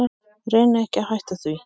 Reyni ekki að hætta því.